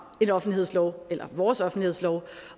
en offentlighedslov eller vores offentlighedslov